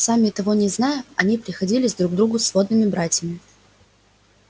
сами того не зная они приходились друг другу сводными братьями